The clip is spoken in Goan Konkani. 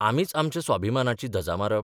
आमीच आमच्या स्वाभिमानाची धजा मारप?